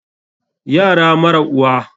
Yara mara uwa.